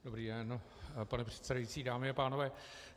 Dobrý den, pane předsedající, dámy a pánové.